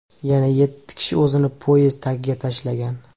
Yana yetti kishi o‘zini poyezd tagiga tashlagan.